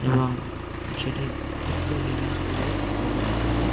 এবং সেটি উত্তর দিনাজপুরে অবস্থিত।